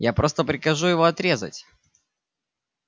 я просто прикажу его отрезать